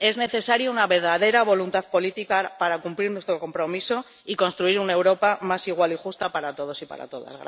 Es necesaria una verdadera voluntad política para cumplir nuestro compromiso y construir una Europa más igual y justa para todos y para todas.